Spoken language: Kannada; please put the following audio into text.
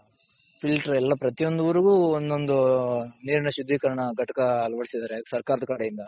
filter ಎಲ್ಲ ಪ್ರತಿಯೊಂದ್ ಊರಿಗು ಒಂದೊಂದು ನೀರಿನ ಶುದ್ಧೀಕರಣ ಘಟಕ ಅಳವಡಿಸಿದ್ದಾರೆ ಸರ್ಕಾರದ ಕಡೆಯಿಂದ.